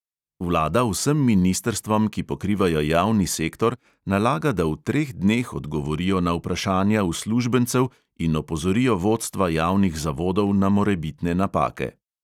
Vlada vsem ministrstvom, ki pokrivajo javni sektor, nalaga, da v treh dneh odgovorijo na vprašanja uslužbencev in opozorijo vodstva javnih zavodov na morebitne napake.